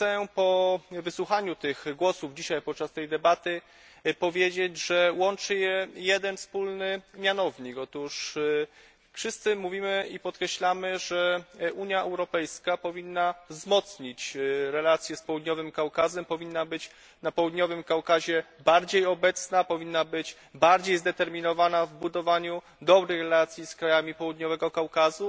Po wysłuchaniu tych głosów podczas dzisiejszej debaty chciałbym powiedzieć, że łączy je jeden wspólny mianownik otóż wszyscy mówimy i podkreślamy, że Unia Europejska powinna wzmocnić relacje z Południowym Kaukazem, powinna być na Południowym Kaukazie bardziej obecna, powinna być bardziej zdeterminowana w budowaniu dobrych relacji z krajami Południowego Kaukazu.